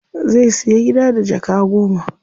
Zai siya gida da jaka goma.